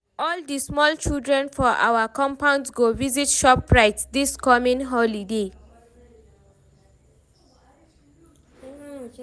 all di small children for our compound go visit shoprite dis coming holiday